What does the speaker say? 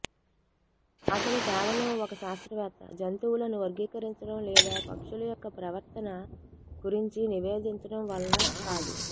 అతను కేవలం ఒక శాస్త్రవేత్త జంతువులను వర్గీకరించడం లేదా పక్షుల యొక్క ప్రవర్తన గురించి నివేదించడం వలన కాదు